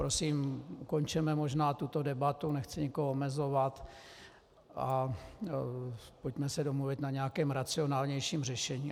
Prosím, ukončeme možná tuto debatu, nechci nikoho omezovat, a pojďme se domluvit na nějakém racionálnějším řešení.